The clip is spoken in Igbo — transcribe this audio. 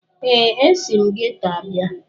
ee, esi m geto abịa